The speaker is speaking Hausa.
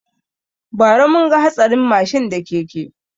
Ba ra mun ga hatsarin mashin da keke